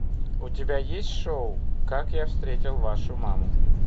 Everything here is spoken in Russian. у тебя есть шоу как я встретил вашу маму